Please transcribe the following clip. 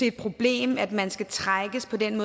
et problem at man skal trækkes gennem